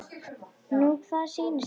Nú hvað sýnist þér.